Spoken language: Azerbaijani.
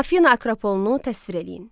Afina Akropolunu təsvir eləyin.